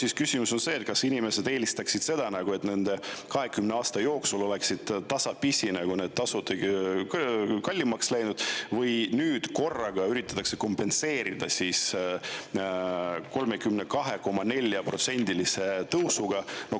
Aga küsimus on see, kas inimesed oleks eelistanud seda, et need tasud oleks nende 20 aasta jooksul tasapisi kallimaks läinud, või, et nüüd korraga üritatakse seda kompenseerida 32,4%-lise tõusuga.